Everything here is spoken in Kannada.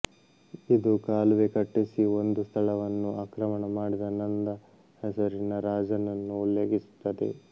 ಇದು ಕಾಲುವೆ ಕಟ್ಟಿಸಿ ಒಂದು ಸ್ಥಳವನ್ನು ಆಕ್ರಮಣ ಮಾಡಿದ ನಂದ ಹೆಸರಿನ ರಾಜನನ್ನು ಉಲ್ಲೇಖಿಸುತ್ತದೆ